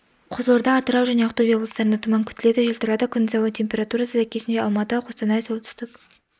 қызылорда атырау және ақтөбе облыстарында тұман күтіледі жел тұрады күндіз ауа температурасы сәйкесінше алматы қостанай солтүстік